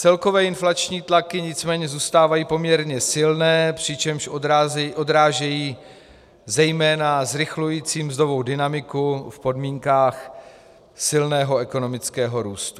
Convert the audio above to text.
Celkové inflační tlaky nicméně zůstávají poměrně silné, přičemž odrážejí zejména zrychlující mzdovou dynamiku v podmínkách silného ekonomického růstu.